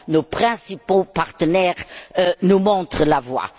Nos principaux partenaires nous montrent la voie.